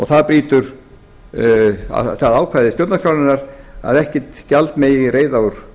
það brýtur það ákvæði stjórnarskrárinnar að ekkert gjald megi greiða úr